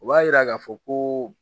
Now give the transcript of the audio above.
U b'a yira k'a fɔ koo